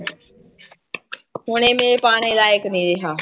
ਹੁਣ ਇਹ ਮੇਰੇ ਪਾਉਣੇ ਲਾਇਕ ਨੀ ਰਿਹਾ।